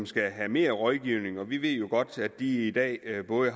skal have mere rådgivning og vi ved jo godt at de i dag har både